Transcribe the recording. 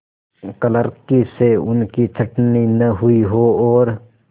क्लर्की से उनकी छँटनी न हुई हो और